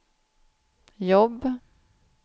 jobb